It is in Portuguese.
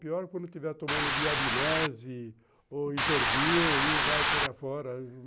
Pior quando eu estiver tomando diabinese ou isordil e vai por aí fora.